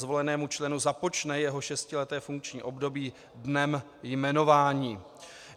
Zvolenému členu započne jeho šestileté funkční období dnem jmenování.